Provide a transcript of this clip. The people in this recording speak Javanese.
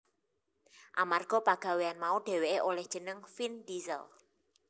Amarga pagawean mau dheweké olih jeneng Vin Diesell